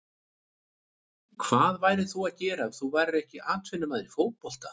Hvað værir þú að gera ef þú værir ekki atvinnumaður í fótbolta?